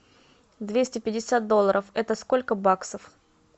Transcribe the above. двести пятьдесят долларов это сколько баксов